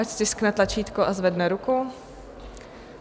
Ať stiskne tlačítko a zvedne ruku.